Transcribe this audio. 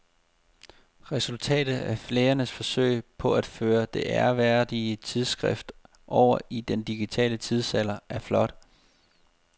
Resultatet af lægernes forsøg på at føre det ærværdige tidsskrift over i den digitale tidsalder er flot.